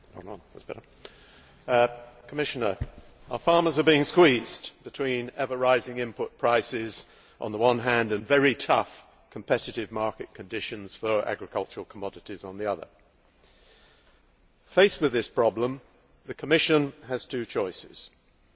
Madam President, Commissioner, our farmers are being squeezed between ever rising input prices on the one hand, and very tough competitive market conditions for agricultural commodities on the other. Faced with this problem the Commission has two options.